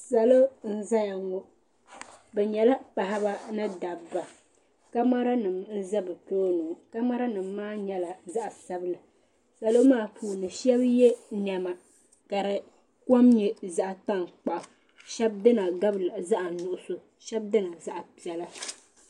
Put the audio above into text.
Salo n zaya ŋɔ bɛ nyɛla paɣaba ni dabba kamara nima n za bɛ tooni ŋɔ kamara nima maa nyɛla zaɣa sabila salo maa puuni sheba ye niɛma ka fi kom nyɛ zaɣa tankpaɣu sheba dina gabila zaɣa nuɣuso sheba dini zaɣa piɛla.